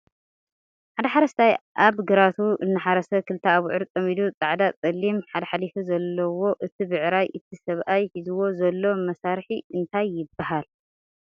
ሓደ ሓረስታይ ኣብ ግራቲ እናሓረሰ ክልተ ኣብዑር ፀሚዱ ፀዓዳ ፀሊም ሓለ ሓሊፉ ዘለዎ እቲ ብዕራይ እቲ ሰብኣይ ሒዝዎ ዘሎ መሳርሒ እንታይ ይበሃል?